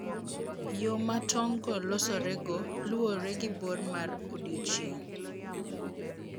Yo ma tong'go losorego luwore gi bor mar odiechieng'.